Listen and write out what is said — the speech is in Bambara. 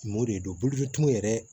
Mɔdɛli don bolofɛtuw yɛrɛ